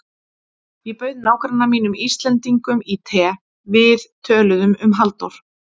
Ég bauð nágranna mínum Íslendingnum í te, við töluðum um Halldór